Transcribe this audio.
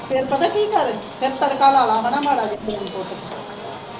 ਫੇਰ ਪਤਾ ਕੀ ਕਰ ਫੇਰ ਤੜਕਾ ਲਾ ਲਾ ਮਾੜਾ ਮਾੜਾ